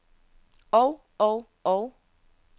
og og og